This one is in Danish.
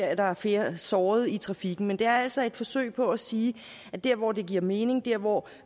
at der er flere sårede i trafikken men det er altså et forsøg på at sige at der hvor det giver mening der hvor